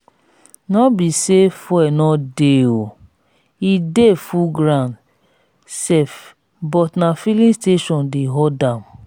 no be say fuel no dey oo e dey full ground sef but na filling station dey horde am